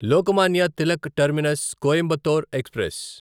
Lokmanya Tilak terminus Coimbatore express